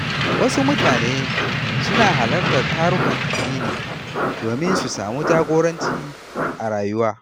Wasu mutane suna halartar tarukan addini domin su samu jagoranci a rayuwa.